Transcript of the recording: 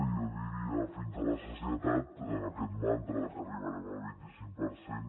jo diria fins a la sacietat aquest mantra que arribarem al vint i cinc per cent